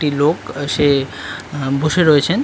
টি লোক সে আহ- বসে রয়েছেন।